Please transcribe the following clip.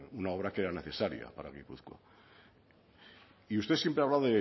una obra que era necesaria para gipuzkoa y usted siempre habla